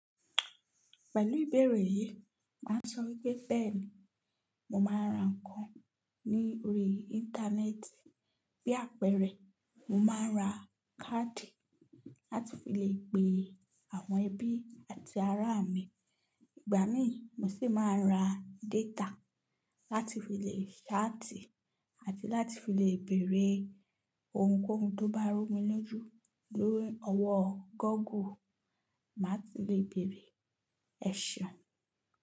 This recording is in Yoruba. Pẹ̀lú ìbẹ̀rẹ̀ yìí, màá sọ wípé bẹ́ẹ̀ni mo máa ń ra ǹkan ní orí Íńtánẹ́ẹ̀tì. Bí àpẹẹrẹ, mo máa ń ra káàdì láti fi lè pe àwọn ẹbí àti ará mi. Ìgbà míì mo sì máa ń ra détà láti fi lè ṣáàtì àti láti fi lè bèèrè ohunkóhun tó bá rú mi lójú lórí ọwọ́ Gọ́gù. Màá ti lè bèèrè ẹ̀ ṣeun.